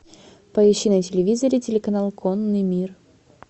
поищи на телевизоре телеканал конный мир